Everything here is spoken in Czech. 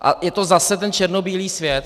A je to zase ten černobílý svět.